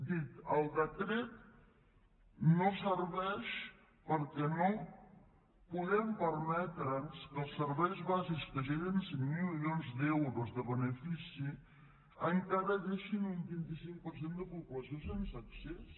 dic el decret no serveix perquè no podem permetre’ns que els serveis bàsics que generen cinc milions d’euros de benefici encara deixin un vint cinc per cent de població sense accés